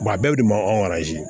a bɛɛ bɛ ma